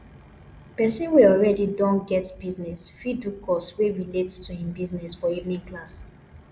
persin wey already don get business fit do course wey relate to im business for evening class